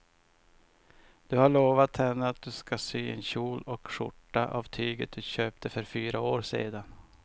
Du har lovat henne att du ska sy en kjol och skjorta av tyget du köpte för fyra år sedan.